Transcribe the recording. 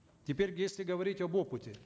теперь если говорить об опыте